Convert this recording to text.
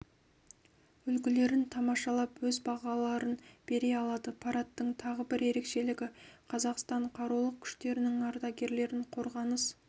үлгілерін тамашалап өз бағаларын бере алады парадтың тағы бір ерекшелігі қазақстан қарулы күштерінің ардагерлерін қорғаныс